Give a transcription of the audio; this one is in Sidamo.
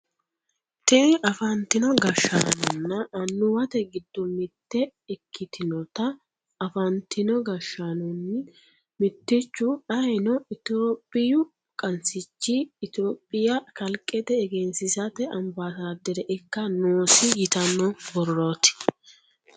Tini afantino gashshaanonna annuwate giddo mitte ikkitinota afantino gashshaanonni mittichu ayeeno itiyophiyu qansichi itiyophiya kalqete egensiisate ambaasaaddere ikka noosi yitanno borrooti